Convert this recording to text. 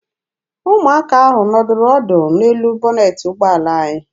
Ụmụaka ahụ nọdụrụ ọdụ n'elu bọnetị ụgbọala anyị.